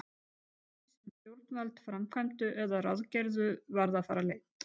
Margt af því, sem stjórnvöld framkvæmdu eða ráðgerðu, varð að fara leynt.